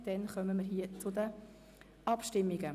Damit kommen wir zur Abstimmung.